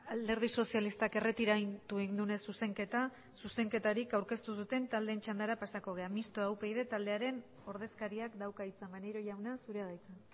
alderdi sozialistak erretiratu egin duenez zuzenketa zuzenketarik aurkeztu ez duten taldeen txandara pasatuko gara mistoa upyd taldearen ordezkariak dauka hitza maneiro jauna zura da hitza